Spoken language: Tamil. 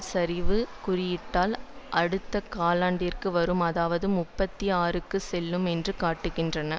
சரிவு குறியீட்டில் அடுத்த காலண்டிற்கு வரும் அதாவது முப்பத்தி ஆறுக்கு செல்லும் என்று காட்டுகின்றன